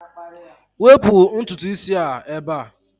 Wepụ ntutu isi a ebe a!